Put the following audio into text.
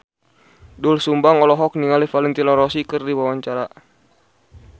Doel Sumbang olohok ningali Valentino Rossi keur diwawancara